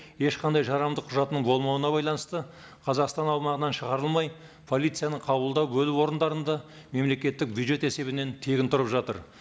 ешқандай жарамды құжатының болмауына байланысты қазақстан аумағынан шығарылмай полицияның қабылдау бөлігі орындарында мемлекеттік бюджет есебінен тегін тұрып жатыр